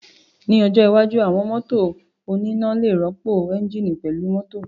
Ní ọjọ́ iwájú, àwọn mọ́tò oníná lè rọ́pò ẹ́ńjíìnì pẹ̀lú mọ́tò